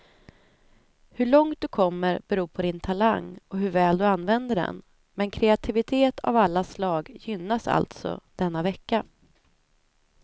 Hur långt du kommer beror på din talang och hur väl du använder den, men kreativitet av alla slag gynnas alltså denna vecka.